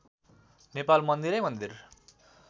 नेपाल मन्दिरै मन्दिर